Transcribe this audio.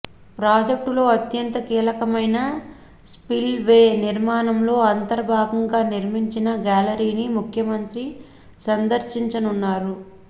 ప్రాజెక్టులో అంత్యంత కీలకమైన స్పిల్ వే నిర్మాణంలో అంతర్భాగంగా నిర్మించిన గ్యాలరీని ముఖ్యమంత్రి సందర్శించనున్నారు